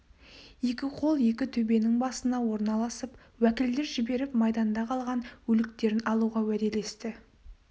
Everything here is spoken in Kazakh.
екі қол екі төбенің басына орналасып уәкілдер жіберіп майданда қалған өліктерін алуға уәделесті